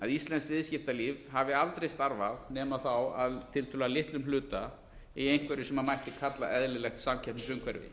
íslenskt viðskiptalíf hafi aldrei starfað nema þá að tiltölulega litlum hluta í einhverju sem mætti kalla eðlilegt samkeppnisumhverfi